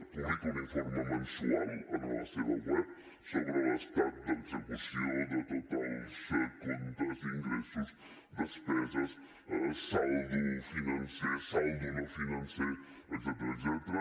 publica un informe mensual en la seva web sobre l’estat d’execució de tots els comptes ingressos despeses saldo financer saldo no financer etcètera